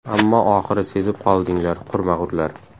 Ammo oxiri sezib qoldinglar, qurmag‘urlar.